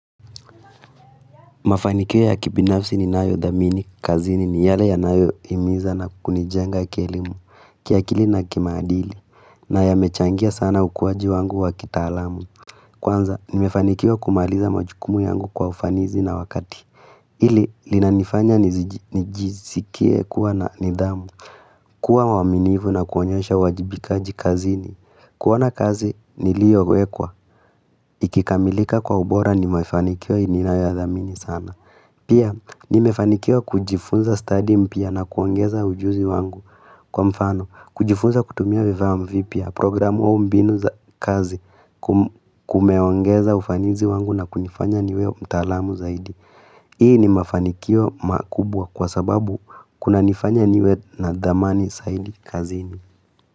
Mafanikio ya kibinafsi ninayo dhamini, kazini ni yale yanayo himiza na kunijenga kelimu, kiakili na kimaadili, na yamechangia sana ukuaji wangu wakitaalamu. Kwanza, nimefanikiwa kumaliza majukumu yangu kwa ufanizi na wakati. Pili, inanifanya nijisikie kuwa na nidhamu, kuwa waminifu na kuonyesha uwajibikaji kazini, kuwa na kazi niliyowekwa, ikikamilika kwa ubora ni mafanikiwa ninayo ya dhamini sana. Pia, nimefanikiwa kujifunza stadi mpya na kuongeza ujuzi wangu kwa mfano. Kujifunza kutumia vifaaa vipya, programu, au mbinu za kazi, kumeongeza ufanisi wangu na kunifanya niwe mtaalamu zaidi. Hii ni mafanikio makubwa kwa sababu kunanifanya niwe na dhamani zaidi kazini.